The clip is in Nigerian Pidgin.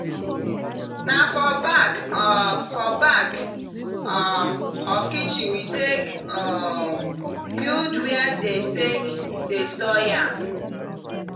na for back um for back um of kitchen we take um build where dem take dey store yam.